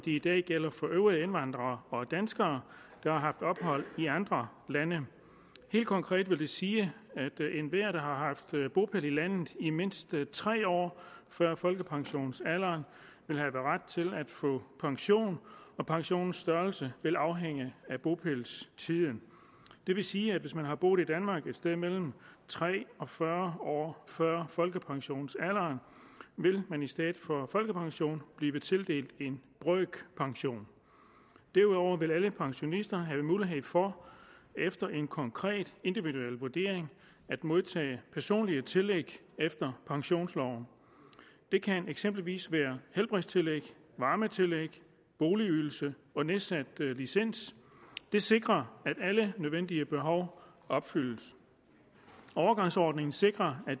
i dag gælder for øvrige indvandrere og danskere der har haft ophold i andre lande helt konkret vil det sige at enhver der har haft bopæl i landet i mindst tre år før folkepensionsalderen vil have ret til at få pension og pensionens størrelse vil afhænge af bopælstiden det vil sige at hvis man har boet i danmark et sted mellem tre og fyrre år før folkepensionsalderen vil man i stedet for folkepension blive tildelt en brøkpension derudover vil alle pensionister have mulighed for efter en konkret individuel vurdering at modtage personlige tillæg efter pensionsloven det kan eksempelvis være helbredstillæg varmetillæg boligydelse og nedsat licens det sikrer at alle nødvendige behov opfyldes overgangsordningen sikrer at